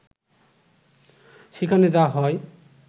সেখানে যা হয়